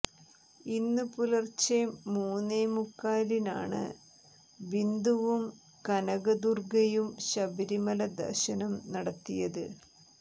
ഇന്നു പുലർച്ചെ മൂന്നേ മുക്കാലിനാണ് ബിന്ദുവും കനകദുർഗയും ശബരിമല ദർശനം നടത്തിയത്